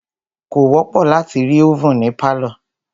Kò wọ́pọ̀ láti rí ovèn ní pálọ̀.